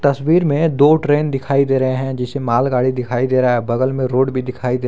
तस्वीर में दो ट्रेन दिखाई दे रहे हैं जिसे मालगाड़ी दिखाई दे रहा है बगल में रोड भी दिखाई दे रहा है।